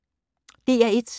DR1